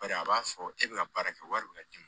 Bari a b'a fɔ e bɛ ka baara kɛ wari bɛna d'i ma